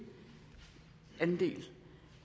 andet